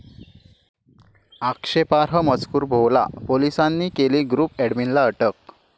आक्षेपार्ह मजकूर भोवला, पोलिसांनी केली ग्रुप अॅडमिनला अटक